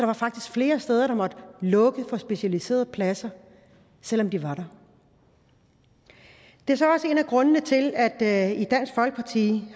var faktisk flere steder der måtte lukke for specialiserede pladser selv om de var der det er så også en af grundene til at vi